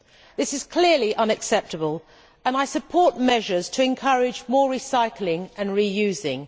This is clearly unacceptable and I support measures to encourage more recycling and reusing.